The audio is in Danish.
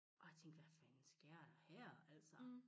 Og jeg tænkte hvad fanden sker der her altså